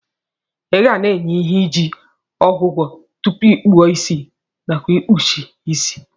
Igana enye ihe iji ogwọgwọ tupu ikpụọ isi nakwa ikpụsie isi.